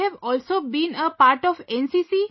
That you have also been a part of NCC